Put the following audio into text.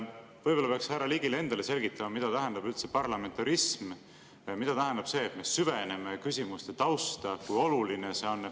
Võib-olla peaks härra Ligile endale selgitama, mida tähendab üldse parlamentarism, mida tähendab see, et me süveneme küsimuste tausta, ja kui oluline see on.